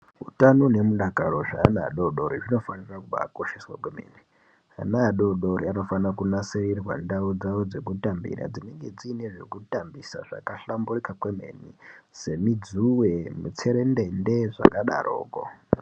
Utano nemidakaro zveana adodori zvinofanire kubaakosheswa kwemene ana adodori anofanira kunasirirwa ndau dzawo dzekutambira dzinenge dziine zvekutambisa zvakahlamburika kwemene semidzuwe mitserendende zvakadarokwo.